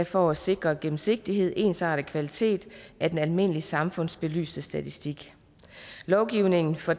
for at sikre gennemsigtighed ensarte kvaliteten af den almindelige samfundsbelysende statistik lovgivningen for